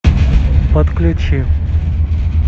подключи